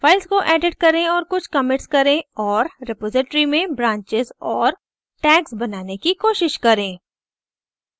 files को edit करें और कुछ commits करें और रेपॉज़िटरी में branches और tags बनाने की कोशिश करें